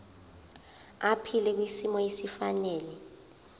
aphile kwisimo esifanele